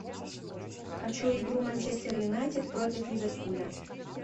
хочу игру манчестер юнайтед против ливерпуля